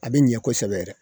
A bi ɲɛ kosɛbɛ yɛrɛ